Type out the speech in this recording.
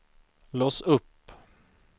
lås upp